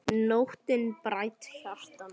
Nóttin bræddi hjarta mitt.